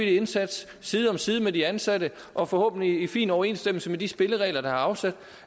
indsats side om side med de ansatte og forhåbentlig i fin overensstemmelse med de spilleregler der er afsat